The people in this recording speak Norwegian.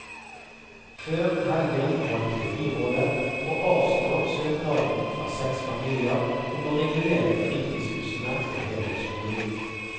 Før helgen valgte byrådet å avslå søknaden fra seks familier om å regulere fritidshusene til helårsbolig.